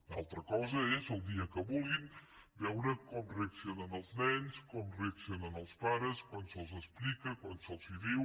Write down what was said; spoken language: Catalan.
una altra cosa és el dia que vulguin veure com reaccionen els nens com reaccionen els pares quan se’ls ho explica quan se’ls ho diu